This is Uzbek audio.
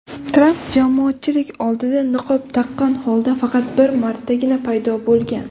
Tramp jamoatchilik oldida niqob taqqan holda faqat bir martagina paydo bo‘lgan.